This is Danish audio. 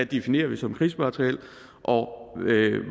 definerer som krigsmateriel og